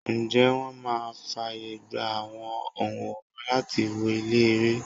Ǹjẹ́ wón máa fàyègba àwọn onworan láti wọ ilé-ère?